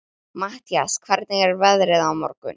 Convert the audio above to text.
Matthías, hvernig er veðrið á morgun?